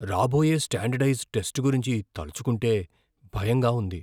రాబోయే standardised test గురించి తలచుకుంటే భయంగా ఉంది.